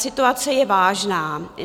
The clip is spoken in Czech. Situace je vážná.